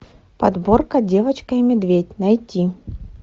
подборка девочка и медведь найти